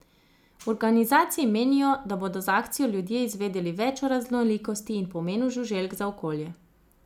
V organizaciji menijo, da bodo z akcijo ljudje izvedeli več o raznolikosti in pomenu žuželk za okolje.